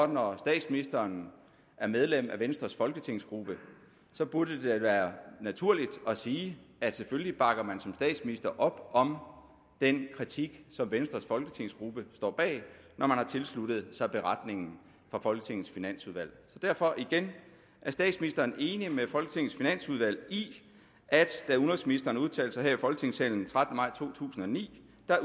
når statsministeren er medlem af venstres folketingsgruppe burde det være naturligt at sige at selvfølgelig bakker man som statsminister op om den kritik som venstres folketingsgruppe står bag når man har tilsluttet sig beretningen fra folketingets finansudvalg derfor igen er statsministeren enig med folketingets finansudvalg i at da udenrigsministeren udtalte sig her i folketingssalen den trettende maj to tusind og ni